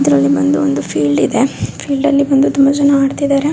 ಇದರಲ್ಲಿ ಬಂದು ಒಂದು ಫೀಲ್ಡ್ ಇದೆ ತುಂಬಾ ಜನ ಆಡ್ತಿದ್ದಾರೆ